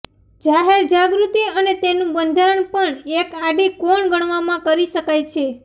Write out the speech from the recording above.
જાહેર જાગૃતિ અને તેનું બંધારણ પણ એક આડી કોણ ગણવામાં કરી શકાય છે